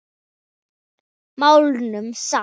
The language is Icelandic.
Máluðum samt.